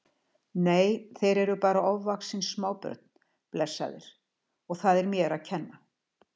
Nei, þeir eru bara ofvaxin smábörn, blessaðir, og það er mér að kenna